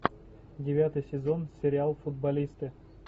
девятый сезон сериал футболисты